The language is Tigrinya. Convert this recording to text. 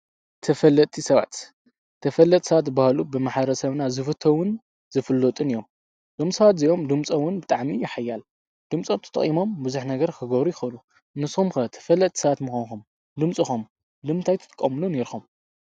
ተፈለጥቲ ሰባት ዝበሃሉ ብማሕበረሰና ዝፍተዉን ዝፍለጡን እዮም። እዞም ሰባት እዚኦም ድምፆም እዉን ብጣዕሚ እዩ ሓያል ድምፆም ተጠቂሞም ብዙሕ ነገር ክገብሩ ይኽእሉ። ንስኹም ከ ተፈለጥቲ ሰባት ምኾንኩም ንምንታይ ትጥቀምሉ ኔርኩም?